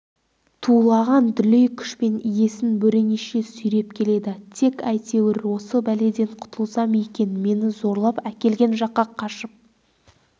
тулаған дүлей күшпен иесін бөренеше сүйреп келеді тек әйтеуір осы бәледен құтылсам екен мені зорлап әкелген жаққа қашып